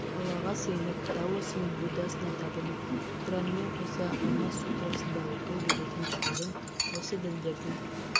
аллаға сыйынып даосы мен буддасына табынып құранымен қоса алмас сутрасын да оқи беретін шалдың осы діндердің